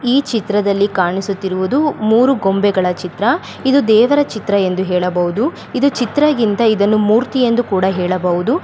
ಈ ಚಿತ್ರದಲ್ಲಿ ಕಾಣಿಸುತ್ತಿರುವುದು ಮೂರೂ ಗೊಂಬೆಗಳ ಚಿತ್ರ ಇದು ದೆವರ ಚಿತ್ರ ಎಂದು ಹೆಳಬಹುದು ಇದು ಚಿತ್ರಗಿಂತ ಇದನ್ನು ಮೂರ್ತಿ ಎಂದು ಹೆಳಬಹುದು .